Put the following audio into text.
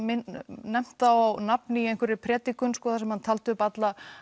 nefnt þá á nafn í einhverri predikun þar sem hann taldi upp alla